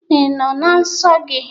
Ị nọọ na nsọ gị?